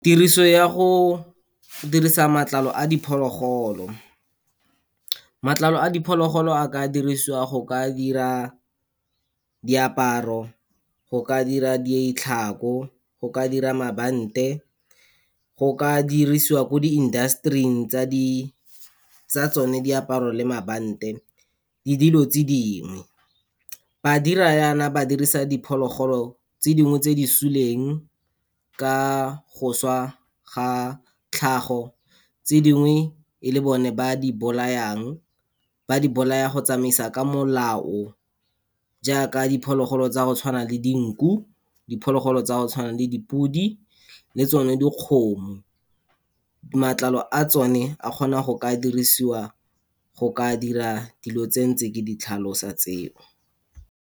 Tiriso ya go dirisa matlalo a diphologolo. Matlalo a diphologolo a ka dirisiwa, go ka dira diaparo, go ka dira ditlhako, go ka dira mabante, go ka dirisiwa ko di-industry-ing tsa di, tsa tsone diaparo le mabante le dilo tse dingwe. Ba dira yana ba dirisa diphologolo tse dingwe tse di suleng, ka go swa ga tlhago, tse dingwe e le bone ba di bolayang, ba di bolaya go tsamaisa ka molao jaaka diphologolo tsa go tshwana le dinku, diphologolo tsa go tshwana le dipodi le tsone dikgomo. Matlalo a tsone a kgona go ka dirisiwa go ka dira dilo tsentse ke di tlhalosa tseo.